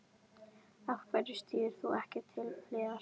Af hverju stígur þú ekki til hliðar?